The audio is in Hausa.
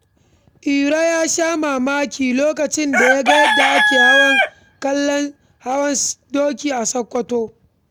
Iro ya sha mamaki lokacin da ya ga yadda ake kallon hawan doki a Sokoto.